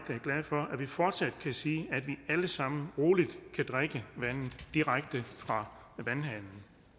glad for at vi fortsat kan sige at vi alle sammen roligt kan drikke vandet direkte fra vandhanen